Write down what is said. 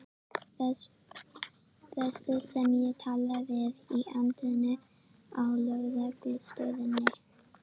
Þessi sem ég talaði við í anddyrinu á lögreglustöðinni.